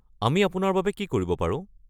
আমি আপোনাৰ বাবে কি কৰিব পাৰো?